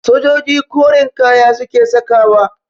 Sojoji koren kaya suke sakawa